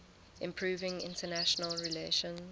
improving international relations